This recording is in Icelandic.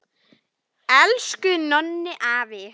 Elsku Nonni afi!